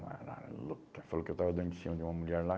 Ela falou que eu estava dando de cima de uma mulher lá.